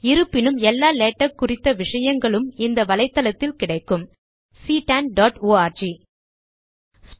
இருப்பினும் எல்லா லேடக் குறித்த விஷயங்களும் இந்த வலைத்தளத்தில் கிடைக்கும் ctanஆர்க்